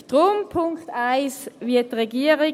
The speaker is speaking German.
Deshalb: beim Punkt 1 wie die Regierung.